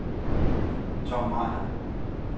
Tom Meier